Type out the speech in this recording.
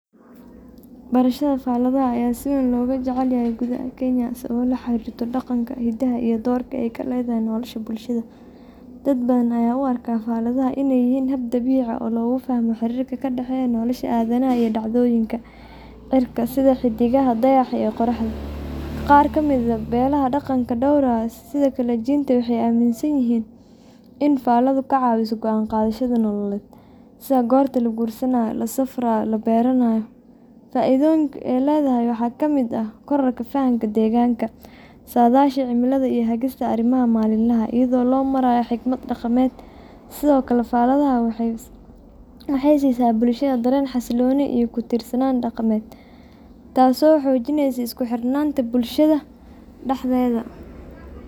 Berashada faladaha ayaa si weyn looga jecel yahay gudaha Kenya sababo la xiriira dhaqanka, hidaha, iyo doorka ay ku leedahay nolosha bulshada. Dad badan ayaa u arka faladaha inay yihiin hab dabiici ah oo lagu fahmo xiriirka ka dhexeeya nolosha aadanaha iyo dhacdooyinka cirka sida xiddigaha, dayaxa, iyo qorraxda. Qaar ka mid ah beelaha dhaqanka dhowraya sida Kikuyu, Luo, iyo Kalenjin waxay aaminsan yihiin in faladdu ka caawiso go’aan qaadashada nololeed, sida goorta la guursado, la beero, ama la safro. Fa’iidooyinka ay leedahay waxaa ka mid ah kororka fahamka deegaanka, saadaasha cimilada, iyo hagista arrimaha maalinlaha ah iyadoo loo marayo xikmad dhaqameed. Sidoo kale, faladaha waxay siisaa bulshada dareen xasillooni iyo ku tiirsanaan dhaqan, taasoo sii xoojinaysa isku xirnaanta bulshada dhexdeeda.